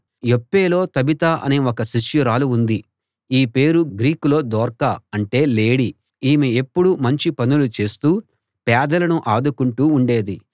యొప్పేలో Tabitha అనే ఒక శిష్యురాలు ఉంది ఈ పేరు గ్రీకులో దొర్కా అంటే లేడి ఈమె ఎప్పుడూ మంచి పనులు చేస్తూ పేదలను ఆదుకుంటూ ఉండేది